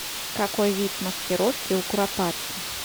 какой вид маскировки у куропатки